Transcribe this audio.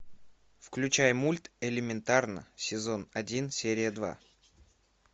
включай мульт элементарно сезон один серия два